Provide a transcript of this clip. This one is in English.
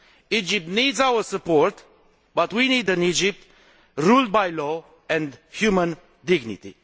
Egypt needs our support, but we need an Egypt ruled by law and human dignity.